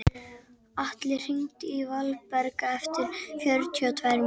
Atli, hringdu í Valberg eftir fjörutíu og tvær mínútur.